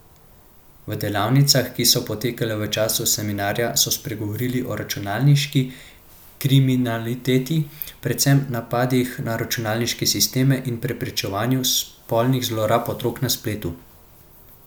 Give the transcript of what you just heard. V delavnicah, ki so potekale v času seminarja, so spregovorili o računalniški kriminaliteti, predvsem napadih na računalniške sisteme in preprečevanju spolnih zlorab otrok na spletu.